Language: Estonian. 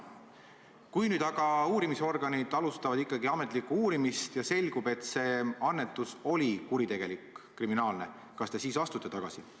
Kui nüüd aga uurimisorganid alustavad ikkagi ametlikku uurimist ja selgub, et see annetus oli kuritegelik, kriminaalne, kas te siis astute tagasi?